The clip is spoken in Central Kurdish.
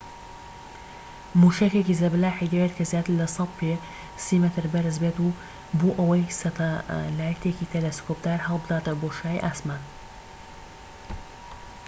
موشەکێکی زەبەلاحی دەوێت کە زیاتر لە ١٠٠ پێ [٣٠ مەتر] بەرز بێت بۆ ئەوەی سەتەلایتێکی تەلەسکۆبدار هەلبداتە بۆشایی ئاسمان